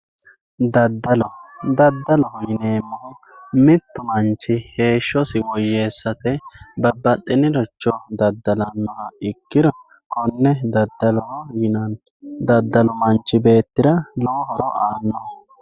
Daddallo daddaloho yineemmohu mittu manchi heeshshosi woyyessate babbaxinoricho daddalanoha ikkiro konne daddaloho yinnanni daddalu manchi beettira lowo horo aanoho.